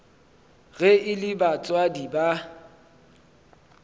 ge e le batswadi ba